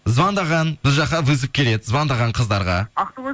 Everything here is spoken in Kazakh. звондаған біз жаққа вызов келеді звондаған қыздарға